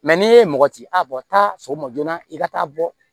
n'i ye mɔgɔ ci a bɔ ta sɔgɔma joona i ka taa bɔ